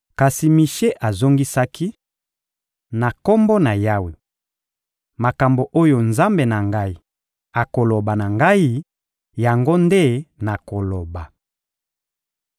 Kasi Mishe azongisaki: — Na Kombo na Yawe, makambo oyo Nzambe na ngai akoloba na ngai, yango nde nakoloba.